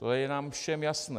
To je nám všem jasné.